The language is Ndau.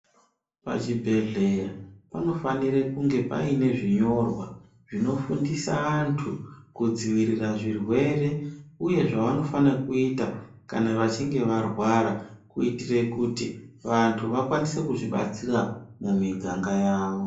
Pachibhedhleya panofanire kunge pane zvinyorwa zvinofundisa antu kudzivirira zvirwere uye zvavanofanire kuita kana vachinge varwara kuitire kuti vantu vakwanise kuzvibatsira mumiganga yavo.